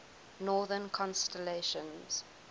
northern constellations